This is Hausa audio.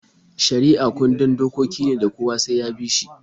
Shari'a kundin dokoki ne da kowa sai ya bi.